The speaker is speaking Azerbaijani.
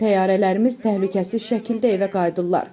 Təyyarələrimiz təhlükəsiz şəkildə evə qayıdırlar.